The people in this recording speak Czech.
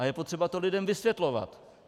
A je potřeba to lidem vysvětlovat.